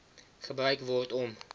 gebruik word om